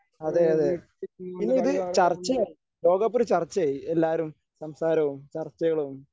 അതേയതേ പിന്നെയിത് ചർച്ചയായി ലോകകപ്പൊരു ചർച്ചയായി. എല്ലാരും സംസാരവും ചർച്ചകളും